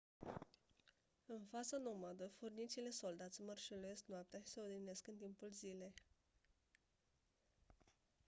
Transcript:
în faza nomadă furnicile soldați mărșăluiesc noaptea și se odihnesc în timpul zilei